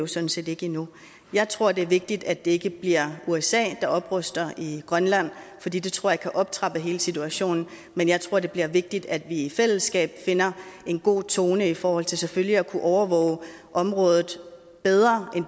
sådan set ikke endnu jeg tror det er vigtigt at det ikke bliver usa der opruster i grønland fordi det tror jeg kan optrappe hele situationen men jeg tror det bliver vigtigt at vi i fællesskab finder en god tone i forhold til selvfølgelig at kunne overvåge området bedre